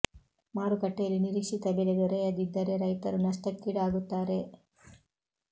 ಮಾರು ಕಟ್ಟೆಯಲ್ಲಿ ನಿರೀಕ್ಷಿತ ಬೆಲೆ ದೊರೆಯದಿ ದ್ದರೆ ರೈತರು ನಷ್ಟಕ್ಕೀಡಾ ಗುತ್ತಾರೆ